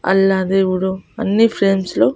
అల్లా దేవుడు అన్ని ఫ్రేమ్స్ లో--